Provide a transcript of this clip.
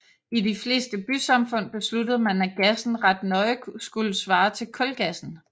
I de fleste bysamfund besluttede man at gassen ret nøje skulle svare til kulgassen